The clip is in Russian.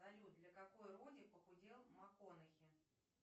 салют для какой роли похудел маккхонахи